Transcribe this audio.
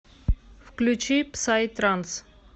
включи псай транс